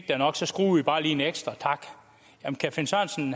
er nok så skruer vi bare lige en ekstra tak men kan